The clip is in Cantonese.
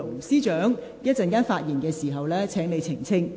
司長，請你稍後發言時澄清。